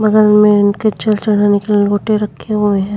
बगल में इनके रखे हुए हैं।